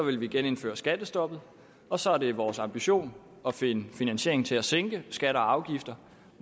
vil vi genindføre skattestoppet og så er det vores ambition at finde finansiering til at sænke skatter og afgifter